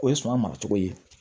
O ye suma maracogo ye